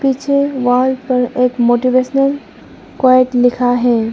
पीछे वॉल पर एक मोटिवेशनल कोट लिखा है।